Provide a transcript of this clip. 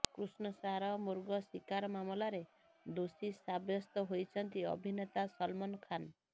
କୃଷ୍ଣସାର ମୃଗ ଶିକାର ମାମଲାରେ ଦୋଷୀ ସାବ୍ୟସ୍ତ ହୋଇଛନ୍ତି ଅଭିନେତା ସଲମାନ ଖାନ୍